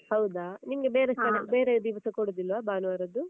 ಹೌದಾ? ನಿಮ್ಗೆ ಬೇರೆ ಬೇರೆ ದಿವ್ಸ ಕೊಡುದಿಲ್ವಾ ಭಾನುವಾರದ್ದು?